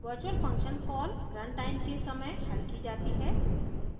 virtual function call रनtime के समय हल की जाती है